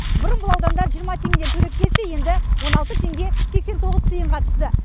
бұрын бұл аудандар жиырма теңгеден төлеп келсе енді он алты теңге сексен тоғыз тиынға түсті